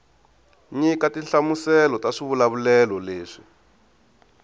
nyika tinhlamuselo ta swivulavulelo leswi